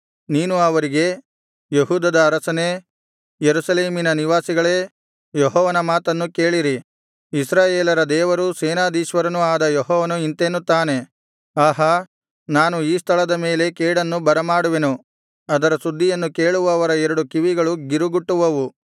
ನೀನು ಅವರಿಗೆ ಯೆಹೂದದ ಅರಸರೇ ಯೆರೂಸಲೇಮಿನ ನಿವಾಸಿಗಳೇ ಯೆಹೋವನ ಮಾತನ್ನು ಕೇಳಿರಿ ಇಸ್ರಾಯೇಲರ ದೇವರೂ ಸೇನಾಧೀಶ್ವರನೂ ಆದ ಯೆಹೋವನು ಇಂತೆನ್ನುತ್ತಾನೆ ಆಹಾ ನಾನು ಈ ಸ್ಥಳದ ಮೇಲೆ ಕೇಡನ್ನು ಬರಮಾಡುವೆನು ಅದರ ಸುದ್ದಿಯನ್ನು ಕೇಳುವವರ ಎರಡು ಕಿವಿಗಳೂ ಗಿರುಗುಟ್ಟುವವು